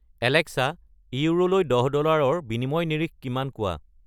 Alexa ইউৰোলৈ দহ ডলাৰৰ বিনিময় নিৰিখ কিমান কোৱা